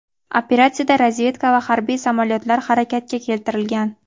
Operatsiyada razvedka va harbiy samolyotlar harakatga keltirilgan.